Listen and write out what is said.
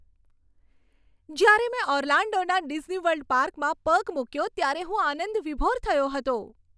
જ્યારે મેં ઓર્લાન્ડોના ડિઝનીવર્લ્ડ પાર્કમાં પગ મૂક્યો ત્યારે હું આનંદવિભોર થયો હતો.